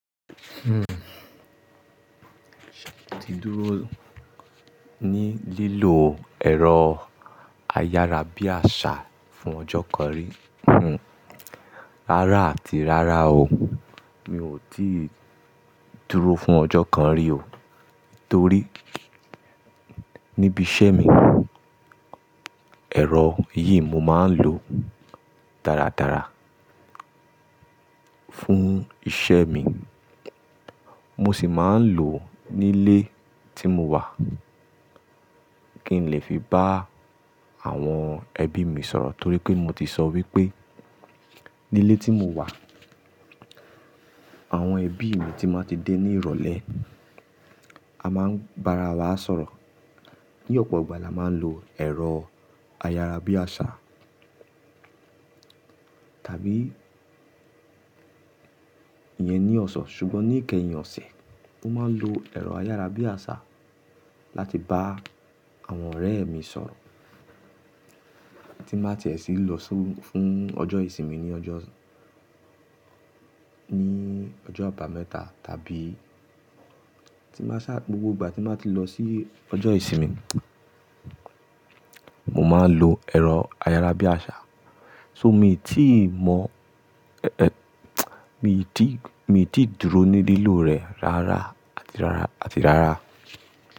Hmm, mi ò tíì dúró ní lílò ẹ̀rọ ayárabíàṣá fún ọjọ́ kan rí. Rárá àti rárá o, mi ò tíì dúró fún ọjọ́ kan rí o. Torí níbi iṣẹ́ mi, ẹ̀rọ yìí mo máa ń lò dáradára fún iṣẹ́ mi. Mo sì máa ń lò ní ilé tí mo wà, kí n lè fi bá àwọn ẹbí mi sọ̀rọ̀. Torí pé mo ti sọ wípé ní ilé tí mo wà, àwọn ẹbí mi tí máa ti dé ní ìrọ̀lẹ́, a máa ń bá ara wa sọ̀rọ̀. Ní ọ̀pọ̀ ìgbà la máa ń lo ẹ̀rọ ayárabíàṣá. Tàbí ìyẹn ni ọ̀sán, ṣùgbọ́n ní ìkẹyìn ọ̀sẹ̀, mo máa ń lo ẹ̀rọ ayárabíàṣá láti bá àwọn ọ̀rẹ́ mi sọ̀rọ̀. Tí máa tiẹ̀ sí lọ fún ọjọ́ ìsinmi ní ọjọ́, ní ọjọ́ àbámẹ́ta tàbí tí máa ṣá, gbogbo ìgbà tí máa ti lọ sí ọjọ́ ìsinmi, mo máa ń lo ẹ̀rọ ayárabíàṣá. So mi ò tí mọ, mi ò tí, mi ò tí dúró ní lílò rẹ̀ rárá àti rárá àti rárá.